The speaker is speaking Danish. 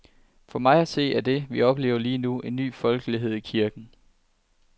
For mig at se er det, vi oplever lige nu, en ny folkelighed i kirken.